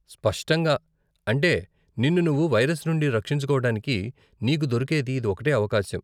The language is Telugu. స్పష్టంగా, అంటే నిన్ను నువ్వు వైరస్ నుండి రక్షించుకోవటానికి నీకు దొరికేది ఇది ఒకటే అవకాశం.